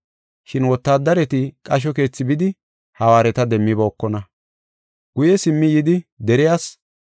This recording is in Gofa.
Shin wotaadareti qasho keethi bidi hawaareta demmibookona. Guye simmi yidi deriyas,